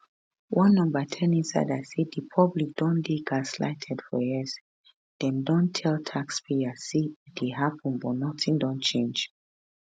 one no ten insider say di public don dey gaslighted for years dem don tell taxpayers say e dey happun but nothing don change